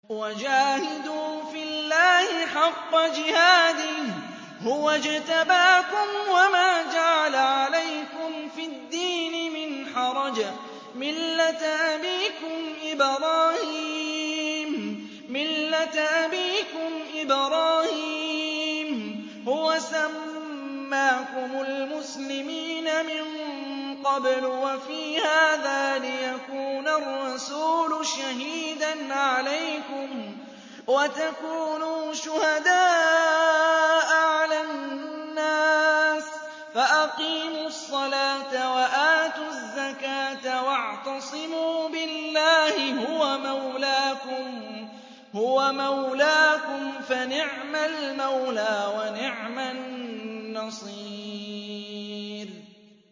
وَجَاهِدُوا فِي اللَّهِ حَقَّ جِهَادِهِ ۚ هُوَ اجْتَبَاكُمْ وَمَا جَعَلَ عَلَيْكُمْ فِي الدِّينِ مِنْ حَرَجٍ ۚ مِّلَّةَ أَبِيكُمْ إِبْرَاهِيمَ ۚ هُوَ سَمَّاكُمُ الْمُسْلِمِينَ مِن قَبْلُ وَفِي هَٰذَا لِيَكُونَ الرَّسُولُ شَهِيدًا عَلَيْكُمْ وَتَكُونُوا شُهَدَاءَ عَلَى النَّاسِ ۚ فَأَقِيمُوا الصَّلَاةَ وَآتُوا الزَّكَاةَ وَاعْتَصِمُوا بِاللَّهِ هُوَ مَوْلَاكُمْ ۖ فَنِعْمَ الْمَوْلَىٰ وَنِعْمَ النَّصِيرُ